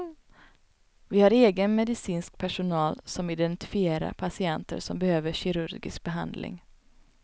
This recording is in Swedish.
Vi har egen medicinskt personal som identifierar patienter som behöver kirurgisk behandling.